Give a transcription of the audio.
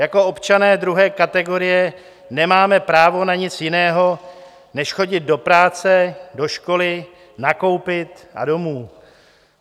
Jako občané druhé kategorie nemáme právo na nic jiného než chodit do práce, do školy, nakoupit a domů.